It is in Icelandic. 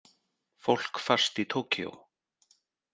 Fólk fast í Tókýó